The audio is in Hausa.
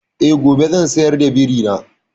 Eh, gobe zan sayar da biri na.